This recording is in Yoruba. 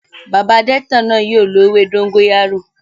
Bàbá adete náà yóò lo ewé dóngóyárò